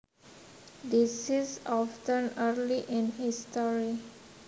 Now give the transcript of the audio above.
This is often early in history